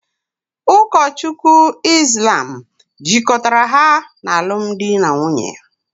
Ụkọchukwu Islam jikọtara ha n’alụmdi na nwunye